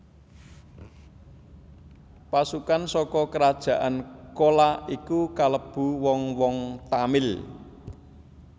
Pasukan saka kerajaan Cola iku kalebu wong wong Tamil